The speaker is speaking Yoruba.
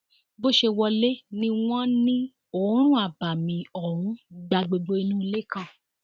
bó ṣe wọlé ni wọn ní oòrùn abàmì ọhún gba gbogbo inú ilé kan